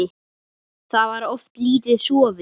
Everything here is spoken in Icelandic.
Þá var oft lítið sofið.